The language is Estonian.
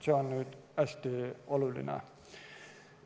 See on hästi oluline.